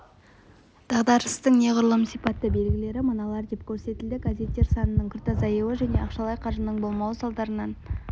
дағдарыстың неғұрлым сипатты белгілері мыналар деп көрсетілді газеттер санының күрт азаюы және ақшалай қаржының болмауы салдарынан